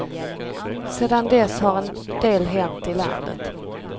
Sedan dess har en del hänt i landet.